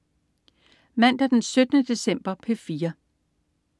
Mandag den 17. december - P4: